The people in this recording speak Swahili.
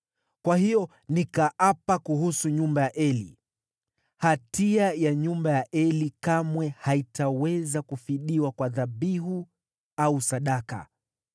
Kwa hiyo, nikaapa kuhusu nyumba ya Eli, ‘Hatia ya nyumba ya Eli kamwe haitaweza kufidiwa kwa dhabihu au sadaka.’ ”